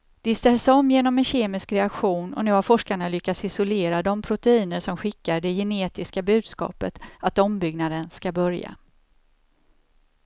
De ställs om genom en kemisk reaktion och nu har forskarna lyckats isolera de proteiner som skickar det genetiska budskapet att ombyggnaden ska börja.